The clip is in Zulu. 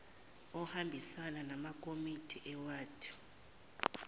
ohambisana namakomiti ewadi